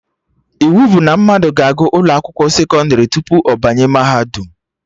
Iwu bụ na mmadụ ga-agụ ụlọ akwụkwọ sekọndrị tupu ọ banye mahadum